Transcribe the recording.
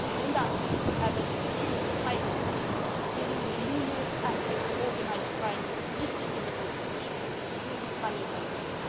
This includes a Secure Societies' theme dealing with numerous aspects of organised crime listed in the report, including money laundering.